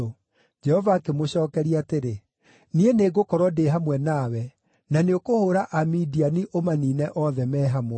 Jehova akĩmũcookeria atĩrĩ, “Niĩ nĩngũkorwo ndĩ hamwe nawe, na nĩũkũhũũra Amidiani ũmaniine othe me hamwe.”